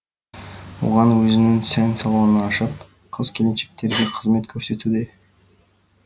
оған өзінің сән салонын ашып қыз келіншектерге қызмет көрсетуде